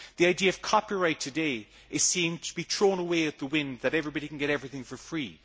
The idea of copyright today is seen to be thrown away at the wind everybody can get everything for free.